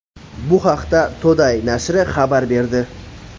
Bu haqda Today nashri xabar berdi.